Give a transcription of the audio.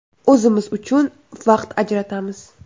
O‘zimiz uchun vaqt ajratamiz.